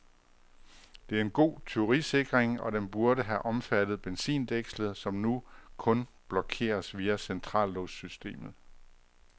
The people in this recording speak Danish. Det er en god tyverisikring, og den burde have omfattet benzindækslet, som nu kun blokeres via centrallåssystemet.